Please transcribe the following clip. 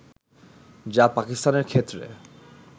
যা পাকিস্তানের ক্ষেত্রে